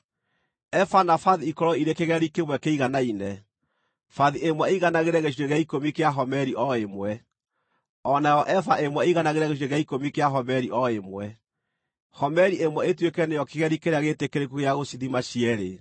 Eba na bathi ikorwo irĩ kĩgeri kĩmwe kĩiganaine, bathi ĩmwe ĩiganagĩre gĩcunjĩ gĩa ikũmi kĩa homeri o ĩmwe, o nayo eba ĩmwe ĩiganagĩre gĩcunjĩ gĩa ikũmi kĩa homeri o ĩmwe; homeri ĩmwe ituĩke nĩyo kĩgeri kĩrĩa gĩĩtĩkĩrĩku gĩa gũcithima cierĩ.